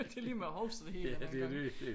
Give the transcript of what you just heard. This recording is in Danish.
Det lige med at huske det hele den her gang